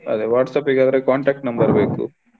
ಅದೆ WhatsApp ಗೆ ಅವರ contact number ಬೇಕು.